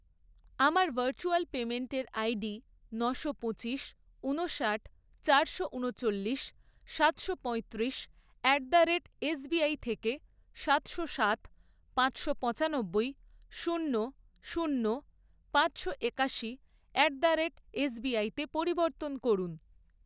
আমার ভার্চুয়াল পেমেন্টের আইডি নশো পঁচিশ, ঊনষাট, চারশো ঊনচল্লিশ, সাতশো পয়ত্রিশ অ্যাট দ্য রেট এসবিআই থেকে সাতশো সাত, পাঁচশো পঁচানব্বই, শূন্য শূন্য, পাঁচশো একাশি অ্যাট দ্য রেট এসবিআইতে পরিবর্তন করুন।